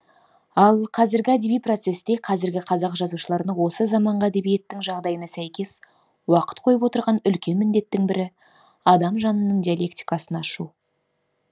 ал қазіргі әдеби процесте қазіргі қазақ жазушыларына осы заманғы әдебиеттің жағдайына сәйкес уақыт қойып отырған үлкен міндеттің бірі адам жанының диалектикасын ашу